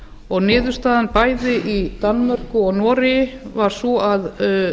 og niðurstaðan bæði í danmörku og noregi var sú að